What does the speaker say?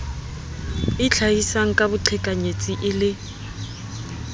itlhahisang ka boqhekanyetsi e le